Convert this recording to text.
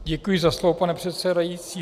Děkuji za slovo, pane předsedající.